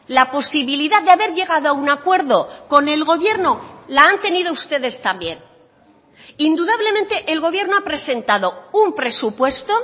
la posibilidad de haber llegado a un acuerdo con el gobierno la han tenido ustedes también indudablemente el gobierno ha presentado un presupuesto